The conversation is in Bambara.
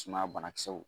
Sumaya banakisɛw